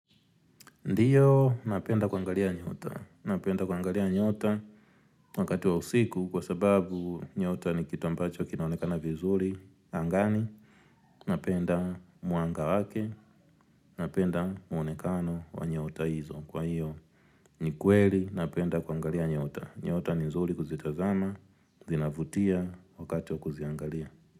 Ndiyo napenda kuangalia nyota, napenda kuangalia nyota wakati wa usiku kwa sababu nyota ni kitu ambacho kinaonekana vizuri angani, napenda mwanga wake, napenda muonekano wa nyota hizo, kwa hiyo ni kweli napenda kuangalia nyota, nyota ni zuri kuzitazama, zinavutia wakati wa kuziangalia.